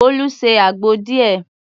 Bolu se àgbo díẹ̀.